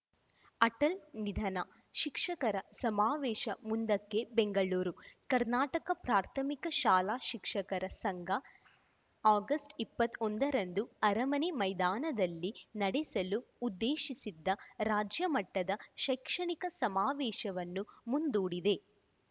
ಅಟಲ್‌ ನಿಧನ ಶಿಕ್ಷಕರ ಸಮಾವೇಶ ಮುಂದಕ್ಕೆ ಬೆಂಗಳೂರು ಕರ್ನಾಟಕ ಪ್ರಾಥಮಿಕ ಶಾಲಾ ಶಿಕ್ಷಕರ ಸಂಘ ಆಗಸ್ಟ್ ಇಪ್ಪತ್ತ್ ಒಂದರಂದು ಅರಮನೆ ಮೈದಾನದಲ್ಲಿ ನಡೆಸಲು ಉದ್ದೇಶಿಸಿದ್ದ ರಾಜ್ಯಮಟ್ಟದ ಶೈಕ್ಷಣಿಕ ಸಮಾವೇಶವನ್ನು ಮುಂದೂಡಿದೆ